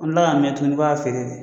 An bɛ kila ka mɛn tuguni ka y'a feere de.